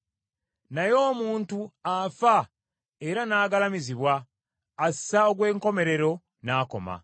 Naye omuntu afa era n’agalamizibwa, assa ogw’enkomerero n’akoma.